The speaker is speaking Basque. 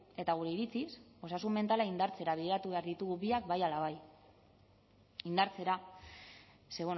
eta gure iritziz osasun mentala indartzera bideratu behar ditugu biak bai ala bai indartzera ze